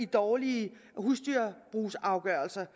dårlige husdyrbrugsafgørelser